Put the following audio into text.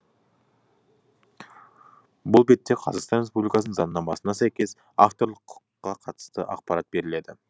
бұл бетте қазақстан республикасының заңнамасына сәйкес авторлық құқыққа қатысты ақпарат беріледі